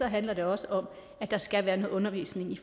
handler det også om at der skal være noget undervisning i